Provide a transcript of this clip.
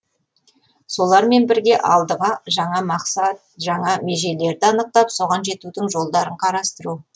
солармен бірге алдыға жаңа мақсат жаңа межелерді анықтап соған жетудің жолдарын қарастыру